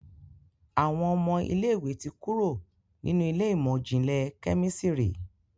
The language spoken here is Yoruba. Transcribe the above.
Àwọn ọmọ ilé ìwé ti kúrò nínú Ilé ìmọ̀n-jinlẹ Kẹ́mísìrì.